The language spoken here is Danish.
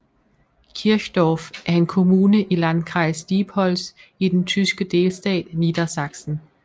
Kirchdorf er en kommune i i Landkreis Diepholz i den tyske delstat Niedersachsen